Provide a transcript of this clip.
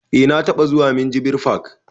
Eh na taɓa zuwa minjibir fak